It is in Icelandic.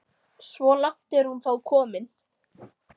Svo langt er hún þó komin.